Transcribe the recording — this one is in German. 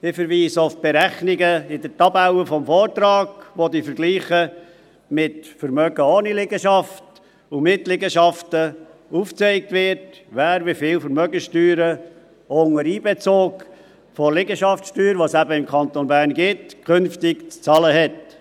– Wir verweisen auf die Berechnungen in der Tabelle des Vortrags, wo mit Vergleichen mit Vermögen ohne Liegenschaften und mit Liegenschaften aufgezeigt wird, wer künftig wie viel Vermögenssteuern auch unter Einbezug der Liegenschaftssteuer, die es im Kanton Bern eben gibt, zu zahlen hat.